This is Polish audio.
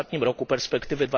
ostatnim roku perspektywy